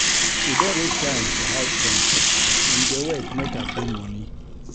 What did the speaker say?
E don reach time for house rent, dem dey wait make I bring moni.